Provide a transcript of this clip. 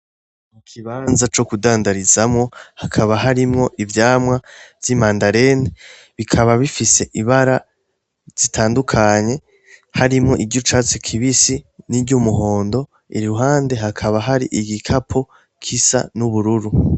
Ikibanza co kudandarizamwo, hakaba harimwo ivyamwa vy'imandarena bikaba bifise ibara zitandukanye harimwo iry'icatsi kibisi, n'iryumuhondo, iruhande hakaba har'igikapo gisa n'ubururu.